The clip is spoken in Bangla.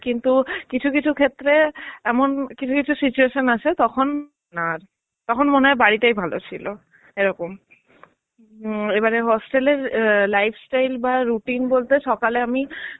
কিন্তু কিছু কিছু ক্ষেত্রে এমন কিছু কিছু situation আসে তখন তখন মনেহয় বাড়িটাই ভালো ছিল. এরকম. উম এবারের hostel এর life style বা routine বলতে সকালে আমি